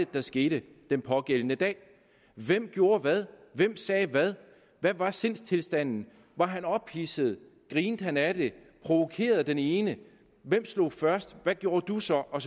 der skete den pågældende dag hvem gjorde hvad hvem sagde hvad hvad var sindstilstanden var han ophidset grinte han af det provokerede den ene hvem slog først hvad gjorde du så og